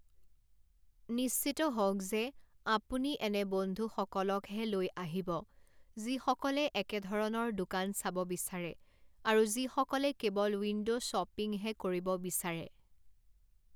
নিশ্চিত হওক যে আপুনি এনে বন্ধুসকলকহে লৈ আহিব যিসকলে একে ধৰণৰ দোকান চাব বিচাৰে আৰু যিসকলে কেৱল উইণ্ড' শ্বপিঙহে কৰিব বিচাৰে।